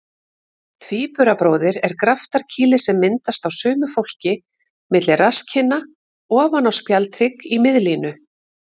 Tvíburabróðir er graftarkýli sem myndast á sumu fólki milli rasskinna ofan á spjaldhrygg í miðlínu.